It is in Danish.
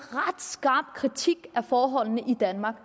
skarp kritik af forholdene i danmark og